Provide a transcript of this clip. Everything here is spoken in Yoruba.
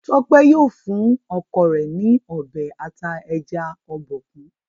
Tope yíò fún ọkọ rẹ n Ọbẹ̀ ata ẹja Obokun.